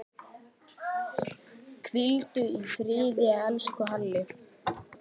Hvíldu í friði, elsku Halli.